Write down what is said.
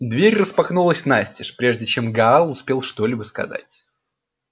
дверь распахнулась настежь прежде чем гаал успел что-либо сказать